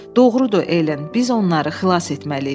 "Doğrudur, Elen, biz onları xilas etməliyik."